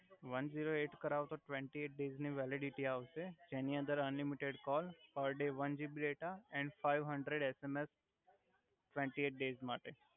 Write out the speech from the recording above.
one zero eight કરાવો તો twenty eight days ની વેલિડીટી આવ્સે અને તેની અંદર unlimited call per day one GB data and five hundred SMS twenty eight days માટે